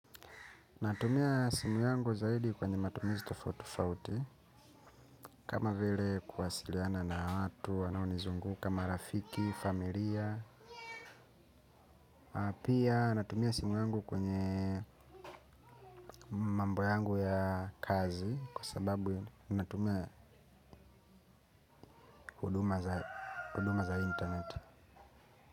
Natumia simu yangu zaidi kwenye matumizi tofautitofauti. Kama vile kuwasiliana na watu, wanaonizunguka marafiki, familia. Pia natumia simu yangu kwenye mambo yangu ya kazi. Kwa sababu natumia huduma za internet.